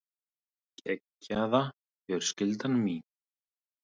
Geggjaða fjölskyldan mín.